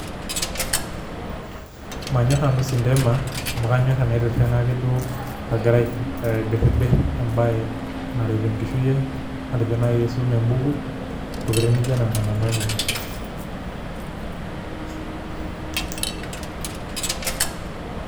Manyor nanu sintema amu kanyor tanaitiringa duo agira aibiribir embae naret enkishui aai, matejo nai aisum embuku, ntokitin nijo nona nanu anyor[break].